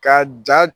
Ka ja